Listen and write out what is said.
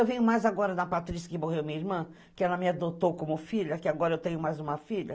Eu venho mais agora na Patrícia, que morreu minha irmã, que ela me adotou como filha, que agora eu tenho mais uma filha.